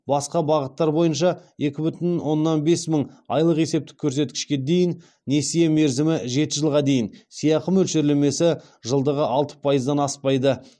басқа бағыттар бойынша екі бүтін оннан бес мың айлық есептік көрсеткішке дейін несие мерзімі жеті жылға дейін сыйақы мөлшерлемесі жылдығы алты пайыздан аспайды